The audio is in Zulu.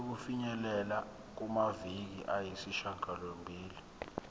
sokufinyelela kumaviki ayisishagalombili